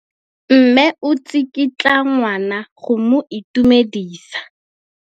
Mme o tsikitla ngwana go mo itumedisa.